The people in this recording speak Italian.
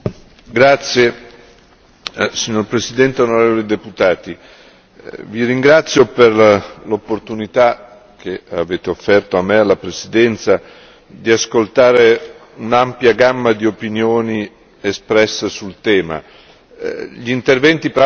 Signora Presidente, onorevoli deputati, vi ringrazio per l'opportunità che avete offerto a me e alla Presidenza di ascoltare l'ampia gamma di opinioni espresse sul tema. Gli interventi peraltro sono andati ben al di là